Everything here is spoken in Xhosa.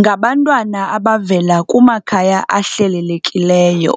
ngabantwana abavela kumakhaya ahlelelekileyo.